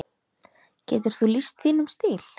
Getur þú lýst þínum stíl?